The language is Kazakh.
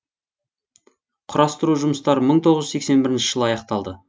құрастыру жұмыстары мың тоғыз жүз сексен бірінші жылы аяқталды